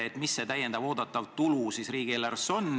Kui suur see täiendav oodatav tulu riigieelarves on?